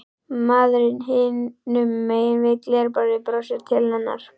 Maðurinn hinum megin við glerborðið brosir til hennar.